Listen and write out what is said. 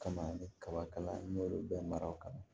Kama ni kaba kala n y'olu bɛɛ mara o kama